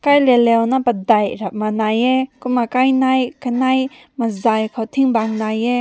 kai laleu kai ram lai heh kumna kai nai kanai mazai kaw ting bang nai heh.